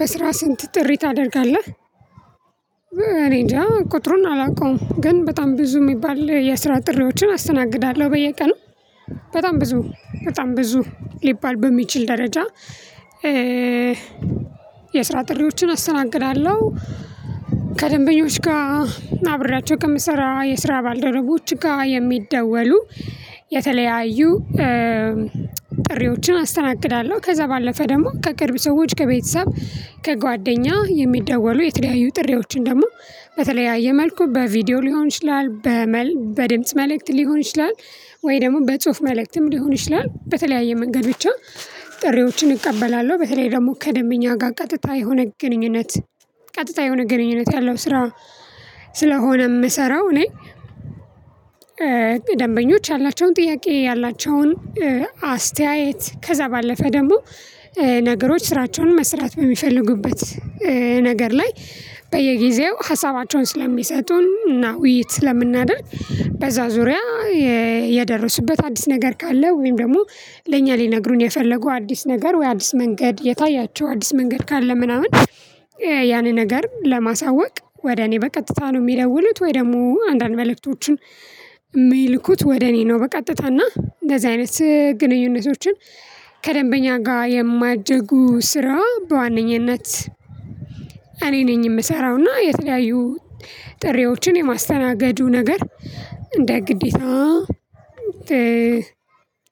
በስራ ስንት ጥሪ ታደርጋለህ? እኔንጃ ቁጥሩን አላውቀውም። ግን በጣም ብዙ የሚባል የስራ ጥሪዎችን አስተናግዳለሁ በየቀኑ። በጣም ብዙ በጣም ብዙ ሊባል በሚችል ደረጃ። የስራ ጥሪዎችን አስተናግዳለሁ። ከደንበኞች ጋ አብራቸው ከምሰራ የስራ ባልደረቦች ጋ የሚደወሉ የተለያዩ ጥሪዎችን አስተናግዳለሁ። ከዛ ባለፈ ደግሞ ከቅርብ ሰዎች ከቤተሰብ ከጓደኛ የሚደወሉ የተለያዩ ጥሪዎችን ደግሞ በተለያየ መልኩ በቪዲዮ ሊሆን ይችላል። በድምጽ መልእክት ሊሆን ይችላል ወይ ደግሞ በጽሁፍ መልእክትም ሊሆን ይችላል በተለያየ መንገድ ብቻ። ጥሪዎችን እቀበላለሁ በተለይ ደግሞ ከደንብኛ ጋር ቀጥታ የሆነ ግንኙነት ቀጥታ የሆነ ግንኙነት ያለው ስራ። ስለሆነም ምሰራው እኔ ደንበኞች ያላቸውን ጥያቄ ያላቸውን አስተያየት ከዛ ባለፈ ደግሞ ነገሮች ስራቸውን መስራት በሚፈልጉበት ነገር ላይ በየጊዜው ሀሳባቸውን ስለሚሰጡን እና ውይይት ስለምናደርግ በዛ ዙሪያ። የደረሱበት አዲስ ነገር ካለ ወይም ደግሞ ለእኛ ሊነግሩን የፈለጉ አዲስ ነገር ወይ አዲስ መንገድ የታያቸው አዲስ መንገድ ካለ ምናምን ያንን ነገር ለማሳወቅ ወደ እኔ በቀጥታ ነው ሚደውሉት ወይ ደግሞ አንዳንድ መልእክቶቹን የሚልኩት ወደ እኔ ነው በቀጥታና እንደዚህ አይነት ግንኙነቶችን። ከደንበኛ ጋር የሚያደርጉ ስራ በዋነኝነት እኔ ነኝ የምሰራውና የተለያዩ ጥሪዎችን የማስተናገዱ ነገር እንደ ግዴታ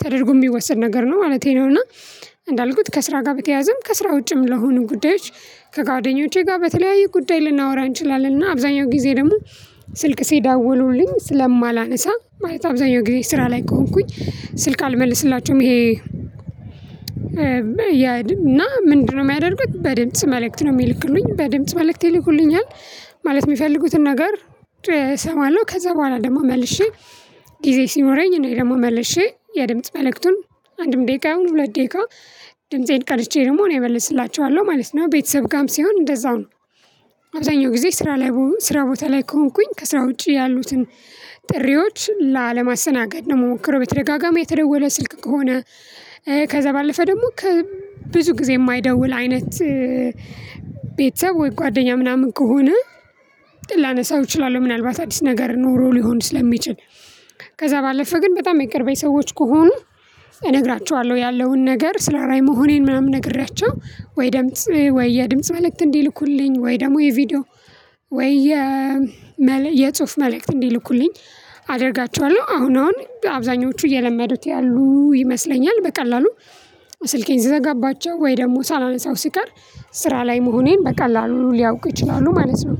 ተደርጎ የሚወሰድ ነገር ነው ማለቴ ነውና። እንዳልኩት ከስራ ጋር በተያዘም ከስራ ውጭም ለሆኑ ጉዳዮች። ከጓደኞቼ ጋር በተለያየ ጉዳይ ልናወራ እንችላለንና እና አብዛኛው ጊዜ ደግሞ ስልክ ሲደውሉልኝ ስለማላነሳ ማለት አብዛኛው ጊዜ ስራ ላይ ከሆንኩኝ ስልክ አልመልስላቸውም ይሄ። ያድም እና ምንድነው የሚያደርጉት? በድምጽ መልእክት ነው የሚልክልኝ በድምጽ መልእክት ይልኩልኛል። ማለት የሚፈልጉትን ነገር እሰማለሁ። ከዛ በኋላ ደግሞ መልሼ ጊዜ ሲኖረኝ እኔ ደግሞ መልሼ የድምጽ መልእክቱን አንድም ደቂቃ አሁን ሁለት ደቂቃ ድምፄን ቀድቸ ደግሞ እኔ እመልስላችኋለሁ ማለት ነው። ቤተሰብ ጋም ሲሆን እንደዛውም ነው። አብዛኛው ጊዜ ስራ ላይ ብሆን ስራ ቦታ ላይ ከሆንኩኝ ከስራ ውጪ ያሉትን ጥሪዎች ላለማሰናገድ ነው የምሞክረው። በተደጋጋሚ የተደወለ ስልክ ከሆነ። ከዛ ባለፈ ደግሞ ብዙ ጊዜ የማይደውል አይነት ቤተሰብ ወይ ጓደኛ ምናምን ከሆነ። ላነሳው እችላለሁ ምናልባት አዲስ ነገር ኖሮ ሊሆን ስለሚችል። ከዛ ባለፈ ግን በጣም የቅርበቤ ሰዎች ከሆኑ እነግራችኋለሁ ያለውን ነገር ስራ ላይ መሆኔን ምናምን ነግሬያቸው። ወይ ደምጽ ወይ የድምጽ ማለት እንዲልኩልኝ ወይ ደግሞ የቪዲዮ ወይ የጽሁፍ መልእክት እንዲልኩልኝ አደርጋቸዋለሁ። አሁን አሁን አብዛኞቹ እየለመዱት ያሉ ይመስለኛል። በቀላሉ ስልኬን ስዘጋባቸው ወይ ደግሞ ሳላነሳው ሲቀር ስራ ላይ መሆኔን በቀላሉ ሊያውቁ ይችላሉ ማለት ነው።